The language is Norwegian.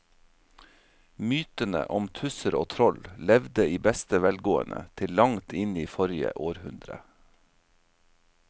Mytene om tusser og troll levde i beste velgående til langt inn i forrige århundre.